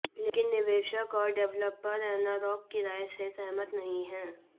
लेकिन निवेशक और डेवलपर एनारॉक की राय से सहमत नहीं हैं